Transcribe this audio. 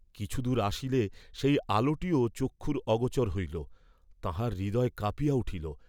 কিছু দূর আসিলে সেই আলোটিও চক্ষুর অগোচর হইল; তাঁহার হৃদয় কাঁপিয়া উঠিল।